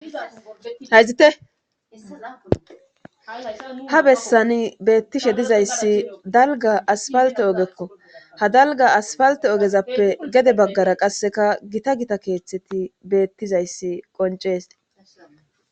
hayzite ha bessani beettishe dizayssi dalgga asfalte oogekko ha dalgga asfalte oogezappe gedde baggara qasseka gita gita keeththeti beettizayssi qoncees